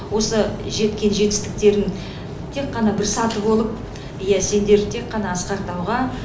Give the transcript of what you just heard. осы жеткен жетістіктерің тек қана бір саты болып иә сендер тек қана асқар тауға